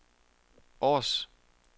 Aars